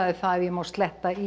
það ef ég má sletta í